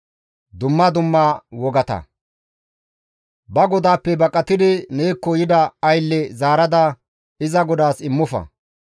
Ba godaappe baqatidi neekko yida aylle zaarada iza godaas immofa.